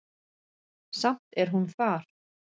Samt er hún þar.